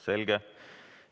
Selge.